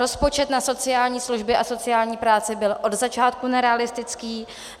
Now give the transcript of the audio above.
Rozpočet na sociální služby a sociální práce byl od začátku nerealistický.